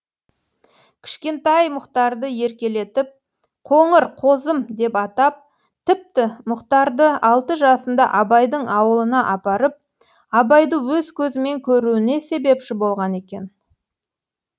кішкентай мұхтарды еркелетіп қоңыр қозым деп атап тіпті мұхтарды алты жасында абайдың ауылына апарып абайды өз көзімен көруіне себепші болған екен